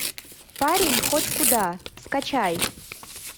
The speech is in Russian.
парень хоть куда скачай